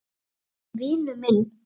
En vinur minn.